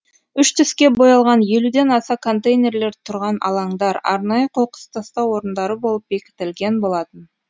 үш түске боялған елуден аса контейнерлер тұрған алаңдар арнайы қоқыс тастау орындары болып бекітілген болатын